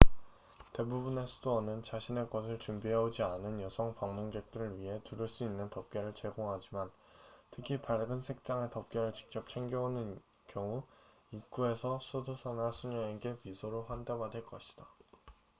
대부분의 수도원은 자신의 것을 준비해오지 않은 여성 방문객들을 위해 두를 수 있는 덮개를 제공하지만 특히 밝은 색상의 덮개를 직접 챙겨 오는 경우 입구에서 수도사나 수녀에게 미소로 환대 받을 것이다